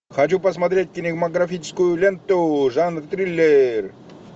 хочу посмотреть кинематографическую ленту жанр триллер